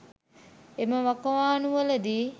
එම වකවාණු වලදී